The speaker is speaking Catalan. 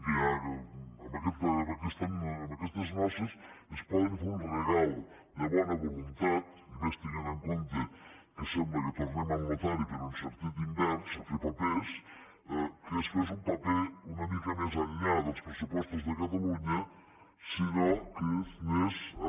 que hi ha amb aquestes noces es poden fer un regal de bona voluntat i més tenint en compte que sembla que tornem al notari però en sentit invers a fer papers que es fes un paper una mica més enllà dels pressupostos de catalunya sinó que anés a